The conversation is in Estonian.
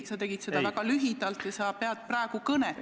Sa tegid seda väga lühidalt ja praegu sa pead kõnet.